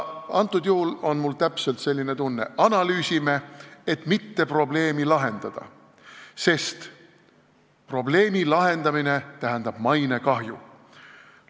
Praegu on mul täpselt selline tunne: analüüsime, et mitte probleemi lahendada, sest probleemi lahendamine tähendab mainekahju.